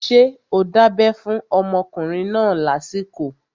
Ṣé o dábẹ́ fún ọmọkùnrin náà lásìkò?